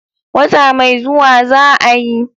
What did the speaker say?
Wata mai zuwa za'a yi.